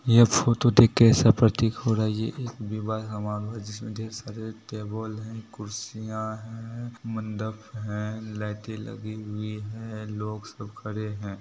ये फोटो देख के ऐसा प्रतीक हो रहा है ये एक विवाह समारोह है जिसमें ढ़ेर सारे टेबल हैं कुर्सियाँ हैं मंडप हैं लाइटें लगी हुई है लोग सब खड़े हैं।